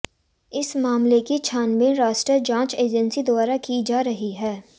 इस हमले की छानबीन राष्ट्रीय जाँच एजेंसी द्वारा की जा रही है